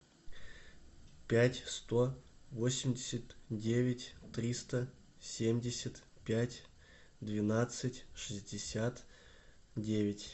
пять сто восемьдесят девять триста семьдесят пять двенадцать шестьдесят девять